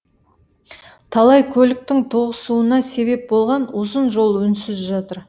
талай көліктің тоғысуына себеп болған ұзын жол үнсіз жатыр